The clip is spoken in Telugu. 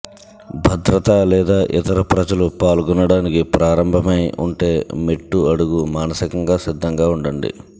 భద్రతా లేదా ఇతర ప్రజలు పాల్గొనడానికి ప్రారంభమై ఉంటే మెట్టు అడుగు మానసికంగా సిద్ధంగా ఉండండి